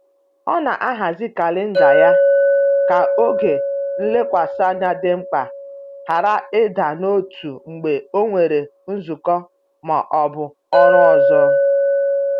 Ọ na-ahazi kalenda ya ka oge nlekwasị anya dị mkpa ghara ịda n’otu mgbe e nwere nzukọ ma ọ bụ ọrụ ọzọ.